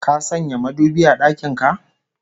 Ka sanya madubi a dakin ka?